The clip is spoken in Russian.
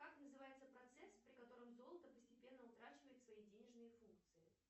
как называется процесс при котором золото постепенно утрачивает свои денежные функции